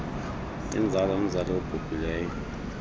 inzala yomzali obhubhileyo